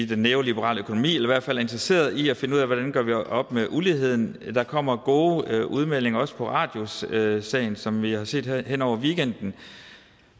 den neoliberale økonomi eller i hvert fald er interesseret i at finde ud af hvordan vi gør op med uligheden der kommer gode udmeldinger også i radiussagen som vi har set her hen over weekenden